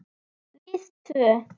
Við tvö.